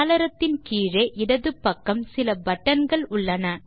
சாளரத்தின் கீழே இடது பக்கம் சில பட்டன் கள் உள்ளன